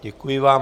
Děkuji vám.